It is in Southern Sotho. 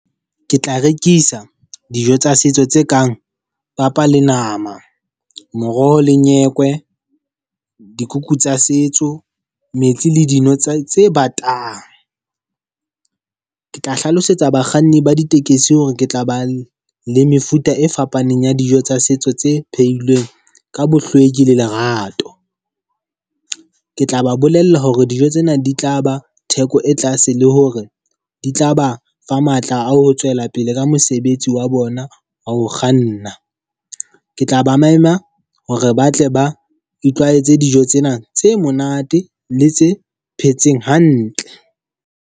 Ke tla rekisa dijo tsa setso tse kang papa le nama, moroho le nyekwe, dikuku tsa setso, metsi le dino tsa tse tse batang. Ke tla hlalosetsa bakganni ba ditekesi hore ke tla ba le mefuta e fapaneng ya dijo tsa setso tse phehilweng ka bohlweki le lerato. Ke tla ba bolella hore dijo tsena di tla ba theko e tlase le hore di tla ba fa matla a ho tswela pele ka mosebetsi wa bona wa ho kganna. Ke tla ba mema hore ba tle ba itlwaetse dijo tsena tse monate le tse phetseng hantle.